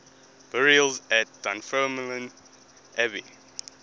burials at dunfermline abbey